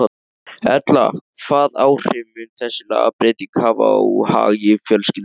Erla, hvað áhrif mun þessi lagabreyting hafa á hagi fjölskyldunnar?